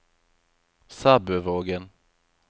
Sæbøvågen